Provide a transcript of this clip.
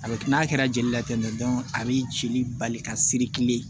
A bɛ kɛ n'a kɛra jeli la a b'i cili bali ka siri kilen